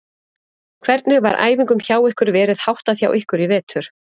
Hvernig var æfingum hjá ykkur verið háttað hjá ykkur í vetur?